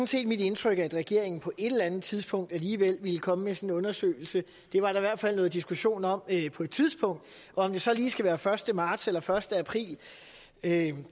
set mit indtryk at regeringen på et eller andet tidspunkt alligevel ville komme med en sådan undersøgelse det var der i hvert fald noget diskussion om på et tidspunkt om det så lige skal være første marts eller første april kan